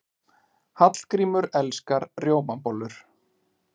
Hallgrímur elskar rjómabollur.